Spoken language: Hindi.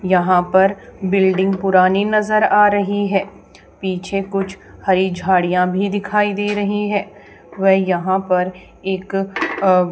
यहां पर बिल्डिंग पुरानी नजर आ रही है पीछे कुछ हरी झाड़ियां भी दिखाई दे रही हैं व यहां पर एक अह --